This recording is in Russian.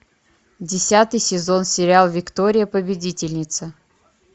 десятый сезон сериал виктория победительница